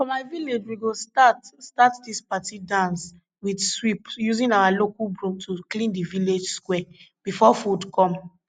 for my village we go start start dis party dance with sweep using our local broom to clean d village square before food come